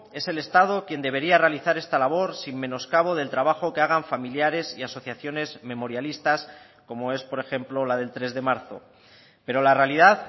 es el estado quien debería realizar esta labor sin menoscabo del trabajo que hagan familiares y asociaciones memorialistas como es por ejemplo la del tres de marzo pero la realidad